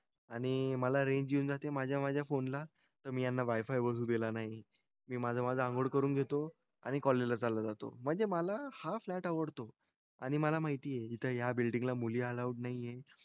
आणि मला रेंज येऊन जाते माझ्या माझ्या फोनला. तर मी वायफाय अजून केला नाही. मी माझं माझं अंघोळ करून घेतो आणि कॉलेजला चालत जातो. म्हणजे मला हा फ्लॅट आवडतो. आणि मला माहिती आहे इथं या बिल्डिंगला मुली अलाऊड नाही आहे.